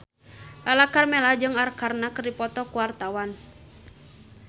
Lala Karmela jeung Arkarna keur dipoto ku wartawan